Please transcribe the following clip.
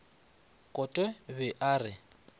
kote o be a re